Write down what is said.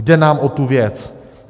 Jde nám o tu věc.